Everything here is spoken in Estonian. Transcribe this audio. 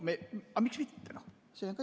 Aga miks mitte?